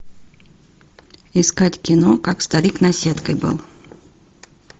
искать кино как старик наседкой был